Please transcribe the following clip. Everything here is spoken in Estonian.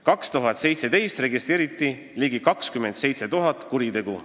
2017. aastal registreeriti ligi 27 000 kuritegu.